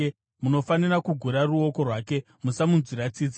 munofanira kugura ruoko rwake. Musamunzwira tsitsi.